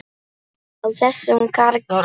Á þessum karli!